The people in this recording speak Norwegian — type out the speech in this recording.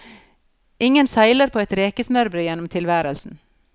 Ingen seiler på et rekesmørbrød gjennom tilværelsen.